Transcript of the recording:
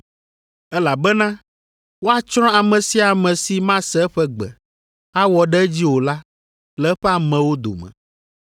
elabena woatsrɔ̃ ame sia ame si mase eƒe gbe, awɔ ɖe edzi o la le eƒe amewo dome.’